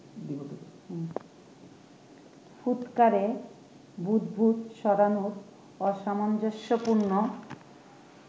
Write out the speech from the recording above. ফুৎকারে বুদ্বুদ ছড়ানো অসামঞ্জস্যপূর্ণ